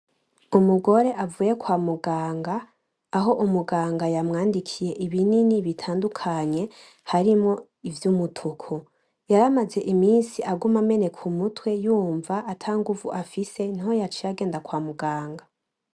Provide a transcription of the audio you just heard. Umugore avuye kwa muganga, aho umuganga yamwandikiye ibinini bitandukanye harimwo ivy'umutuku, yar'amaze imisi aguma ameneka umutwe yumva ata ngumvu afise niho yaciye agenda kwa muganga.